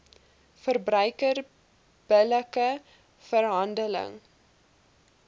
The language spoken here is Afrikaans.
verbruiker billike verhandeling